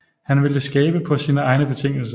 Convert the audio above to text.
Han ville skabe på sine egne betingelser